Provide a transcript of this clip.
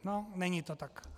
No, není to tak.